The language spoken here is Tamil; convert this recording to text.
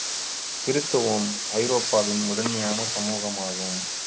கிருத்துவம் ஐரோப்பாவின் முதன்மையான சமூகமாகும்